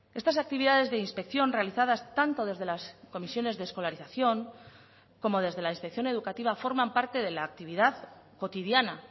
estas actividades de inspección realizadas tanto desde las comisiones de escolarización como desde la inspección educativa forman parte de la actividad cotidiana